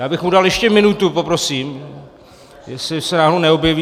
Já bych mu dal ještě minutu, poprosím, jestli se náhodou neobjeví.